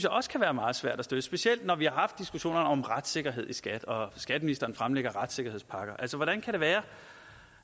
også kan være meget svært at støtte specielt når vi har haft diskussionerne om retssikkerhed i skat og skatteministeren fremlægger retssikkerhedspakker hvordan kan det være